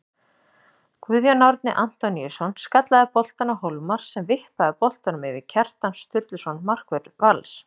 Guðjón Árni Antoníusson skallaði boltann á Hólmar sem vippaði boltanum yfir Kjartan Sturluson markvörð Vals.